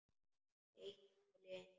Eitt mál í einu.